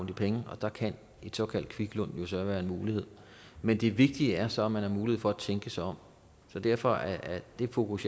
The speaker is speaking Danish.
de penge og der kan et såkaldt kviklån jo så være en mulighed men det vigtige er så at man har mulighed for at tænke sig om så derfor er det fokus